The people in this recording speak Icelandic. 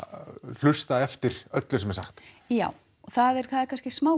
hlusta eftir öllu sem er sagt já og það er kannski smá